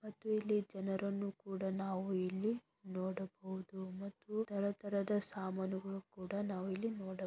ಮತ್ತು ಇಲ್ಲಿ ಜನರನ್ನು ಕೂಡ ನಾವು ಇಲ್ಲಿ ನೋಡಬಹುದು ಮತ್ತು ತರ ತರದ ಸಾಮಾನುಗಳು ಕೂಡ ನಾವು ಇಲ್ಲಿ ನೋಡ --